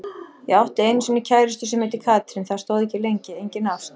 Ég átti einu sinni kærustu sem heitir Katrín, það stóð ekki lengi, engin ást.